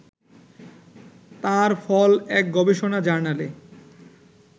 তার ফল এক গবেষণা জার্নালে